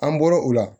An bɔro o la